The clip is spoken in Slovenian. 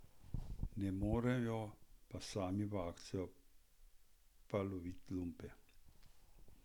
Ne morejo pa sami v akcijo pa lovit lumpe.